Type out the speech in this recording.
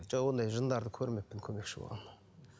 жоқ ондай жындарды көрмеппін көмекші болған